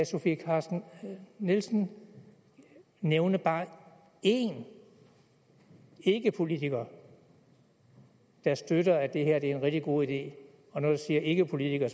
sofie carsten nielsen nævne bare én ikkepolitiker der støtter at det her er en rigtig god idé og når jeg siger ikkepolitiker